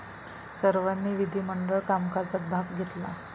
सर्वांनी विधिमंडळ कामकाजात भाग घेतला.